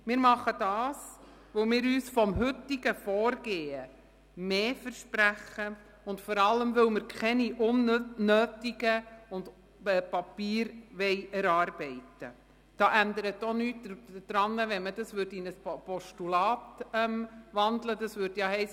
– Wir tun dies, weil wir uns vom heutigen Vorgehen mehr versprechen und vor allem, weil wir keine unnötigen Papiere erarbeiten wollen.